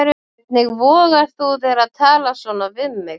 Hvernig vogar þú þér að tala svona við mig.